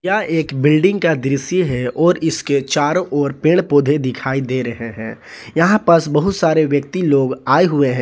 यह एक बिल्डिंग का दृश्य है और इसके चारो ओर पेड़ पौधे दिखाई दे रहे हैं यहां पास बहुत सारे व्यक्ति लोग आए हुए हैं।